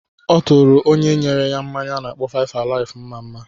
Ọ tụrụ onye nyere ya mmanya a na-akpọ 5-alive mma-mma.